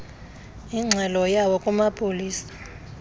ingxelo yawo kumapolisa